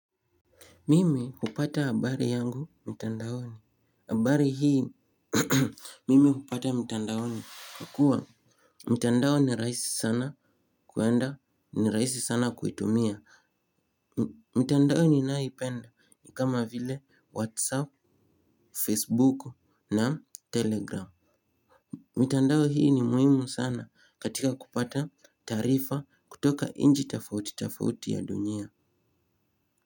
Mimi hupata habari yangu mtandaoni, habari hii mimi hupata mtandaoni kwa kuwa mtandao ni rahisi sana kuenda ni raisi sana kuitumia. Mitandao ni nayoipenda ni kama vile whatsapp, facebook na telegram. Mtandao hii ni muhimu sana katika kupata taarifa kutoka nchi tofauti tofauti ya dunia.